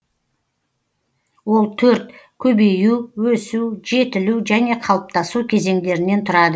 ол төрт көбею өсу жетілу және қалыптасу кезеңдерінен тұрады